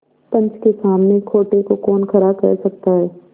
पंच के सामने खोटे को कौन खरा कह सकता है